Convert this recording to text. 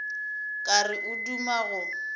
ka re o duma go